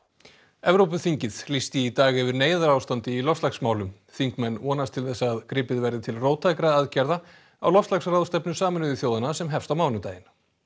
Evrópuþingið lýsti í dag yfir neyðarástandi í loftslagsmálum þingmenn vonast til þess að gripið verði til róttækra aðgerða á loftslagsráðstefnu Sameinuðu þjóðanna sem hefst á mánudaginn